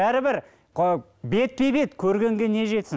бәрібір бетпе бет көргенге не жетсін